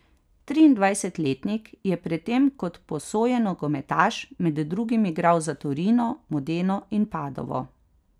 Triindvajsetletnik je pred tem kot posojen nogometaš med drugim igral za Torino, Modeno in Padovo.